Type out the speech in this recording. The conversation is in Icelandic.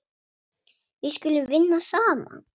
Við skulum vinna saman.